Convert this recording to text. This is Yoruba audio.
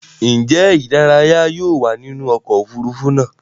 Njé ìdárayá yóò wá nínú oko òfurufú náa?